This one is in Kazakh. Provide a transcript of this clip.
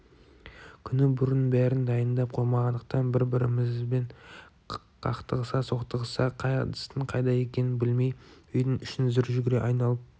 күні бұрын бәрін дайындап қоймағандықтан бір-бірімізбен қақтығыса-соқтығыса қай ыдыстың қайда екенін білмей үйдің ішін зыр жүгіре айналып